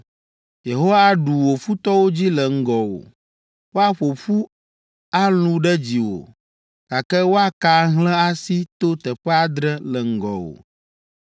“Yehowa aɖu wò futɔwo dzi le ŋgɔwò. Woaƒo ƒu alũ ɖe dziwò, gake woaka ahlẽ asi to teƒe adre le ŋgɔwò!